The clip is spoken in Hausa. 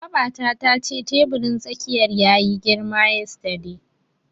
Babata tace teburin tsakiyar yayi girma yesterday.